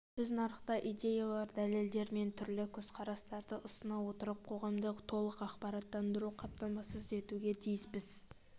біз нарықта идеялар дәлелдер мен түрлі көзқарастарды ұсына отырып қоғамды толық ақпараттандыруды қамтамасыз етуге тиіспіз